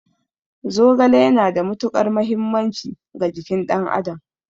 Zogale yana da matuƙar mahimmanci ga jikin ɗan adam